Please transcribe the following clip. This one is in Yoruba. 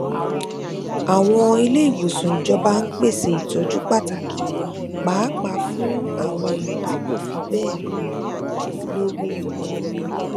àwọn iléìwòsàn ìjọba ń pèsè ìtójú pàtàkì pàápàá fún àwọn èèyàn tí kò fi bẹẹ lówó lówó